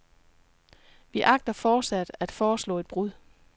Vi agter fortsat at foreslå et brud.